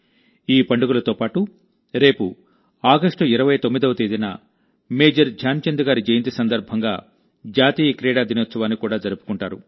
ఈ పండుగలతో పాటు రేపు ఆగస్టు 29వ తేదీన మేజర్ ధ్యాన్చంద్ గారి జయంతి సందర్భంగా జాతీయ క్రీడా దినోత్సవాన్ని కూడా జరుపుకుంటారు